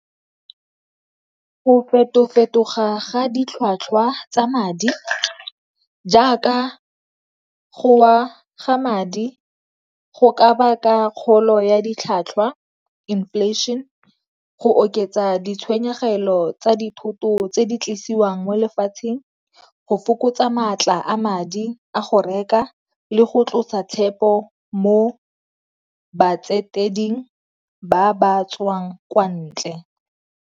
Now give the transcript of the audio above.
Go feto-fetoga ga ditlhwatlhwa tsa madi jaaka go wa ga madi go ka baka kgolo ya ditlhwatlhwa inflation, go oketsa ditshenyegelo tsa dithoto tse di tlisiwang mo lefatsheng, go fokotsa maatla a madi a go reka le go tlosa tshepo mo ba ba tswang kwa ntle.